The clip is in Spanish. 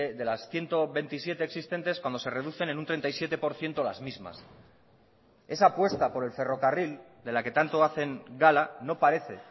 de las ciento veintisiete existentes cuando se reducen en un treinta y siete por ciento las mismas esa apuesta por el ferrocarril de la que tanto hacen gala no parece